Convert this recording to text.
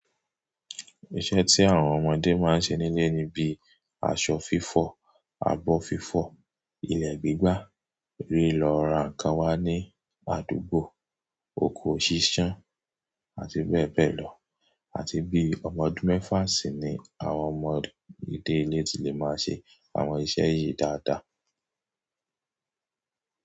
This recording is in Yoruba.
Iṣẹ́ tí àwọn ọmọdé máa ń ṣe nílé ni bíi aṣọ fífọ̀, abọ́ fífọ̀, ilẹ̀ gbígbà, rí lọ ra nǹkan wá ní àdúgbò, oko ṣíṣán, àti bẹ́ẹ̀ bẹ́ẹ̀ lọ, àti bíi ọmọ ọdún mẹ́fà sì ni àwọn ọmọdé ilé ti lè máa ṣe àwọn iṣẹ́ yìí dáadáa.